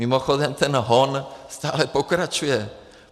Mimochodem, ten hon stále pokračuje.